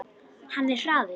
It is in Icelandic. Hann er hraður.